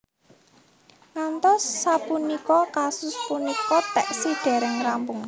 Ngantos sapunika kasus punika taksih dereng rampung